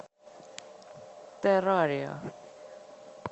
террария